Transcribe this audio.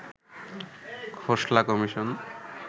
Khosla commission